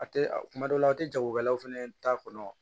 A tɛ a kuma dɔw la a tɛ jagokɛlaw fana ta kɔnɔ